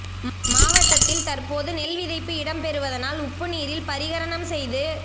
மாவட்டத்தில் தற்போது நெல் விதைப்பு இடம்பெறுவதனால் உப்பு நீரில் பரிகரணம் செய்து